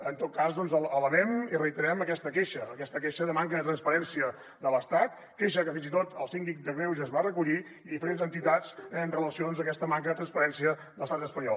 en tot cas elevem i reiterem aquesta queixa aquesta queixa de manca de transparència de l’estat queixa que fins i tot el síndic de greuges va recollir i diferents entitats amb relació a aquesta manca de transparència de l’estat espanyol